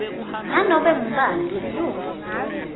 nanobe ngubani lilunga